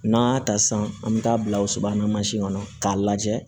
N'an y'a ta sisan an bɛ taa bila o sobamasi kɔnɔ k'a lajɛ